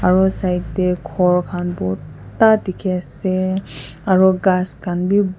aro side tae khor khan borta dikhiase aro ghas khan bi.